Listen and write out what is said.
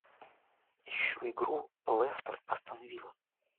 ищу игру лестер астон вилла